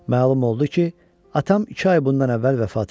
Məlum oldu ki, atam iki ay bundan əvvəl vəfat eləyib.